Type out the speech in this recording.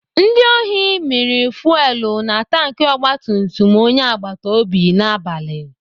Ndị ohi mịrị fuwelu na tanki ogbatumtum onye agbatobi n'abalị.